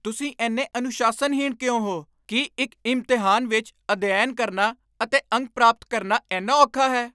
ਤੁਸੀਂ ਇੰਨੇ ਅਨੁਸ਼ਾਸਨਹੀਣ ਕਿਉਂ ਹੋ? ਕੀ ਇੱਕ ਇਮਤਿਹਾਨ ਵਿੱਚ ਅਧਿਐਨ ਕਰਨਾ ਅਤੇ ਅੰਕ ਪ੍ਰਾਪਤ ਕਰਨਾ ਇੰਨਾ ਔਖਾ ਹੈ?